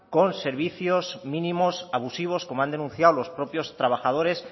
con servicio mínimos abusivos como han denunciado los propios trabajadores